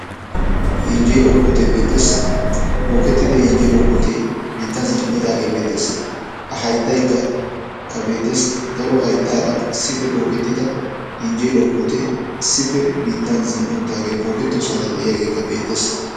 yenjjeluwaa puute beettees, bookettida yenjjeluwaa puute biittan zin''idaagee beettees, a hayttakka beettes, daro hayttaara issippe bookkettidi yenjjeeluwa puutte issi biittan zin''i uttaage bookkettooosnaara diyaagee beettees.